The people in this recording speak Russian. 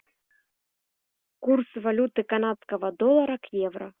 курс валюты канадского доллара к евро